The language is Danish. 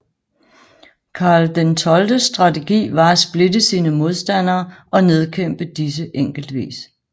Karl XIIs strategi var at splitte sine modstandere og nedkæmpe disse enkeltvis